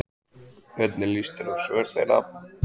Hvernig lýst þér á svör þeirra?